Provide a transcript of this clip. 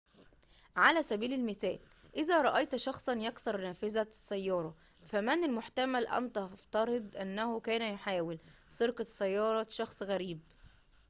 على سبيل المثال إذا رأيت شخصاً يكسر نافذة سيارة فمن المحتمل أن تفترض أنه كان يحاول سرقة سيارة شخص غريب